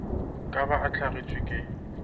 ka ba a hlagetšwe ke